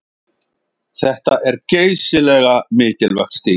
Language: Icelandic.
Þetta er geysilega mikilvægt stig